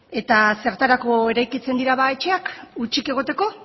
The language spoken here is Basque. eta zertarako eraikitzen dira ba etxeak hutsik egoteko